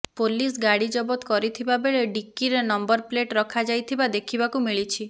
police ଗାଡ଼ି ଜବତ କରିଥିବାବେଳେ ଡିକିରେ ନମ୍ବର ପ୍ଲେଟ ରଖାଯାଇଥିବା ଦେଖିବାକୁ ମିଳିଛି